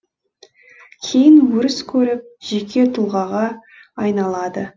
кейін өріс көріп жеке тұлғаға айналады